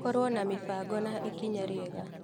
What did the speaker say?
Korwo na mĩbango nĩ ikinya rĩega.